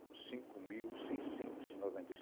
cinco mil seiscentos e noventa e